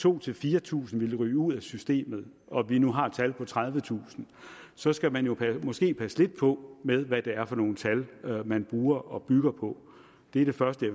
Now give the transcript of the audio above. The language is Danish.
tusind fire tusind ville ryge ud af systemet og vi nu har et tal på tredivetusind så skal man jo måske passe lidt på med hvad det er for nogle tal man bruger og bygger på det er det første